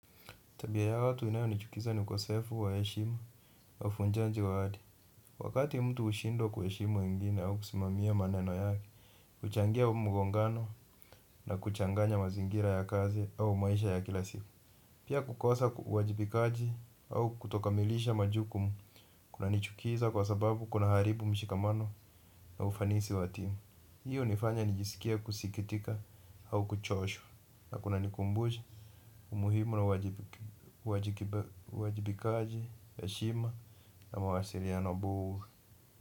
Tabia ya watu inayo nichukiza ni ukosefu wa heshima na uvujanji wa ahadi. Wakati mtu hushindwa kuheshimu wengine au kusimamia maneno yake huchangia mgongano na kuchanganya mazingira ya kazi au maisha ya kila siku. Pia kukosa uwajibikaji au kutokamilisha majukumu kuna nichukiza kwa sababu kuna haribu mshikamano na ufanisi wa timu. Hiyo hunifanya nijisikie kusikitika au kuchoshwa na kuna nikumbusha umuhimu na uwajibikaji heshima na mawasiliano bora.